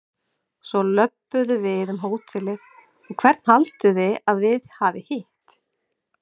Svo löbbuðu við um hótelið og hvern haldið þið að við hafi hitt?